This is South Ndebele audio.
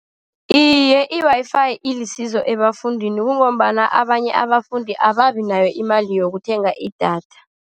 Iye, i-Wi-Fi ilisizo ebafundini, kungombana abanye abafundi ababi nayo imali yokuthenga idatha.